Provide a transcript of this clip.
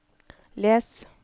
les